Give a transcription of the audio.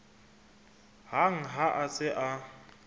hang ha a se a